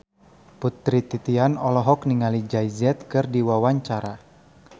Putri Titian olohok ningali Jay Z keur diwawancara